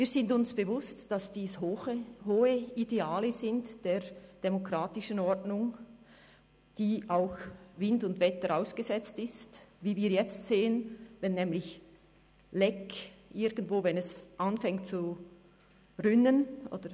Wir sind uns bewusst, dass dies hohe Ideale der demokratischen Ordnung sind die auch Wind und Wetter ausgesetzt sind, wie wir jetzt sehen, wenn nämlich ein Leck entsteht, wenn es irgendwo anfängt zu rinnen.